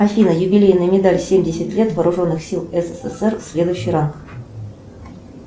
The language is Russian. афина юбилейная медаль семьдесят лет вооруженных сил ссср следующий ранг